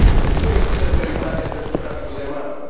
Nu există prioritate pentru traficul de marfă.